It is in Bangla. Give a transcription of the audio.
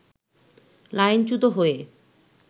লাইনচ্যুত হয়ে